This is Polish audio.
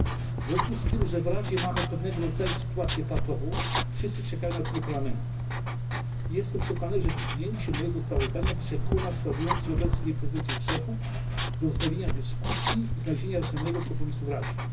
W związku z tym, że w Radzie mamy pewnego rodzaju sytuację patową wszyscy czekają na opinię Parlamentu jestem przekonany, że przyjęcie mojego sprawozdania przekona sprawujących obecnie prezydencję Czechów do wznowienia dyskusji i znalezienia racjonalnego kompromisu w Radzie.